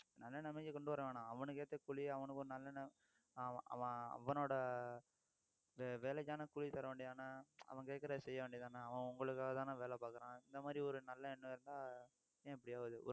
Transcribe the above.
நல்ல நிலைமைக்கு கொண்டு வர வேணாம் அவனுக்கு ஏத்த கூலி அவனுக்கு ஒரு நல்ல நிலை~ அவன் அவனோட இந்த வேலைக்கான கூலி தர வேண்டியது தானே, அவன் கேக்குறதை செய்ய வேண்டியது தானே அவன் உங்களுக்காக தானே வேலை பாக்குறான் இந்த மாதிரி ஒரு நல்ல எண்ணம் இருந்தா ஏன் இப்படி ஆகுது